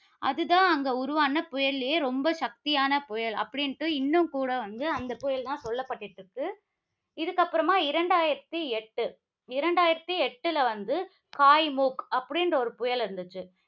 அதுதான் அங்க உருவான புயலிலேயே ரொம்ப சக்தியான புயல். அப்படின்னு இன்னும் கூட வந்து அந்தப் புயல் தான் சொல்லப்பட்டிட்டிருக்கு. இதற்கு அப்புறமா இரண்டாயிரத்தி எட்டு, இரண்டாயிரத்தி எட்டுல வந்து காய்முக் அப்படி என்ற ஒரு புயல் வந்துச்சு